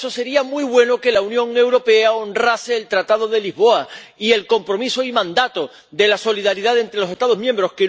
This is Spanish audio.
Y, para eso, sería muy bueno que la Unión Europea honrase el Tratado de Lisboa y el compromiso y mandato de la solidaridad entre los Estados miembros